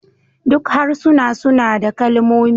Duk harsuna suna da kalmomi